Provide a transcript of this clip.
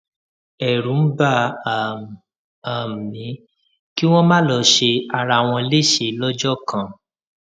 ẹrù ń bà um um mí kí wọn má lọ ṣe ara wọn léṣe lọjọ kan